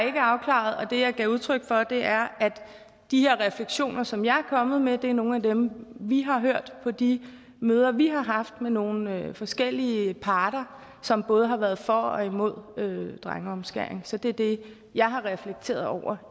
ikke afklaret og det jeg gav udtryk for er at de refleksioner som jeg er kommet med er nogle af dem vi har hørt på de møder vi har haft med nogle forskellige parter som både har været for og imod drengeomskæring så det er det jeg har reflekteret over